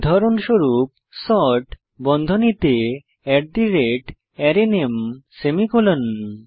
উদাহরনস্বরূপ sort বন্ধনীতে arrayName semicolon